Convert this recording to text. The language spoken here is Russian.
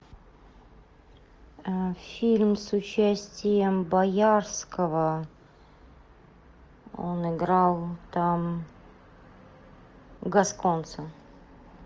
фильм с участием боярского он играл там гасконца